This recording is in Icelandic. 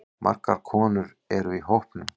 Margar konur eru í hópnum.